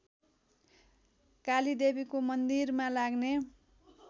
कालीदेवीको मन्दिरमा लाग्ने